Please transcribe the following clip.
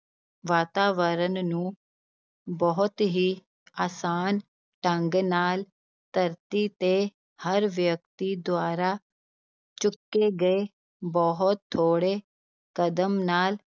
ਵਾਤਾਵਰਨ ਨੂੰ ਬਹੁਤ ਹੀ ਆਸਾਨ ਢੰਗ ਨਾਲ ਧਰਤੀ ਤੇ ਹਰ ਵਿਅਕਤੀ ਦੁਆਰਾ ਚੁੱਕੇ ਗਏ ਬਹੁਤ ਥੋੜ੍ਹੇ ਕਦਮ ਨਾਲ